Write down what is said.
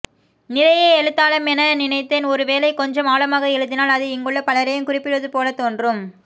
நிறைய எழுதாலமென நினைத்தேன் ஒரு வேளை கொஞ்சம் ஆழமாக எழுதினால் அது இங்குள்ள பலரையும் குறிப்பிடுவது போல தோன்றும்